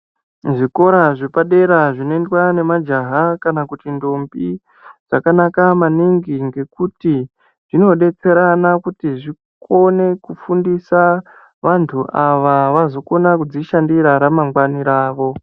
Zvikora zvepadera zvinoendwa nemajaha kana kuti ndombi zvakanaka maningi ngekuti zvinodetserana kuti zvikone kufundisa vantu ava vazokona kuzvishandira ramangwana avo.